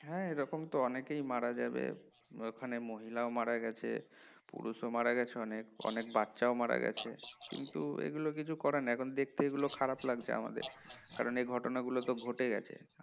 হ্যাঁ এরকম তো অনেকেই মারা যাবে অনেক মহিলা ও মারা গেছে পুরুষো মারা গেছে অনেক অনেক বাচ্চা ও মারা গেছে কিন্তু এগুলো কিছু করার নাই এগুলো দেখতে খুব খারাপ লাগছে আমাদের কারণ এই ঘটনাগুলো তো ঘটে গেছে